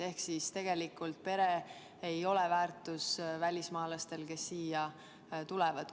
Ehk tegelikult ei ole pere väärtus välismaalastele, kes siia tulevad.